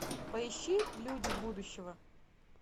поищи люди будущего